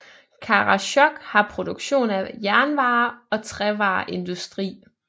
Karasjok har produktion af jernvarer og trævareindustri